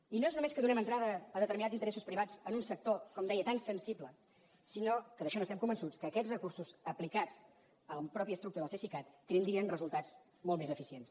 i no és només que donem entrada a determinats interessos privats en un sector com deia tan sensible sinó que d’això n’estem convençuts que aquests recursos aplicats a la mateixa estructura del cesicat tindrien resultats molt més eficients